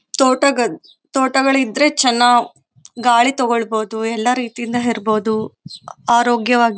ತೋಟಗಳು ತೋಟಗಳಿದ್ರೆ ಚೆನ್ನ ಗಾಳಿ ತಗೋಳ್ಬಹುದು ಎಲ್ಲ ರೀತಿಯಿಂದ ಇರಬಹುದು ಆರೋಗ್ಯವಾಗಿ.